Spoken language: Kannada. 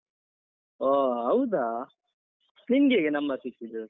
ಹೋ ಹೌದಾ, ನಿನ್ಗೆ ಹೇಗೆ number ಸಿಕ್ಕಿದು?